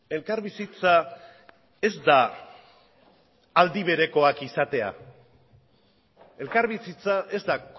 elkarbizitza ez da aldi berekoak izatea elkarbizitza ez da